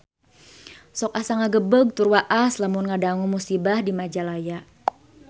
Sok asa ngagebeg tur waas lamun ngadangu musibah di Majalaya